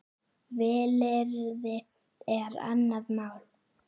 Vilyrði er annað mál.